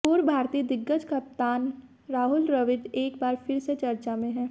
पूर्व भारतीय दिग्गज कप्तान राहुल द्रविड़ एक बार फिर से चर्चा में हैं